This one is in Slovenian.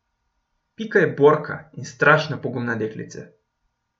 Pika je borka in strašno pogumna deklica.